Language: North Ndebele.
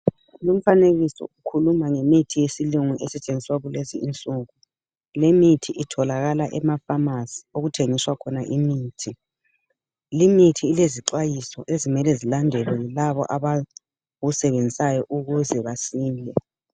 Lumfanekiso ukhuluma ngemithi yesilungu esetshenziswa kulezi insuku lemithi itholakala emafamasi okuthengiswa khona imithi, limithi ilezixwayiso ezimele zilandelwe yilabo abayisebenzisayo ukuze basile.